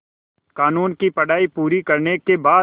क़ानून की पढा़ई पूरी करने के बाद